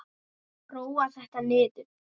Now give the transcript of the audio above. Róa þetta niður!